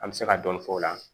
An bɛ se ka dɔɔni fɔ o la